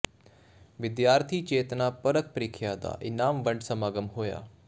ਵਿਦਿਆਰਥੀ ਚੇਤਨਾ ਪਰਖ ਪ੍ਰੀਖਿਆ ਦਾ ਇਨਾਮ ਵੰਡ ਸਮਾਗਮ ਹੋਇਆ